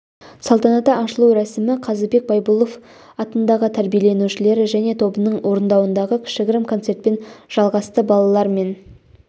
салтанатты ашылу рәсімі қазыбек байбұлов атындағы тәрбиеленушілері және тобының орындауындағы кішігірім концертпен жалғасты балалар мен